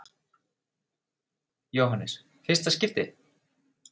Jóhannes: Fyrsta skipti?